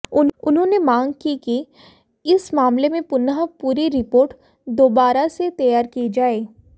उन्होंने मांग की कि इस मामले में पुनः पूरी रिपोर्ट दोबारा से तैयार की जाए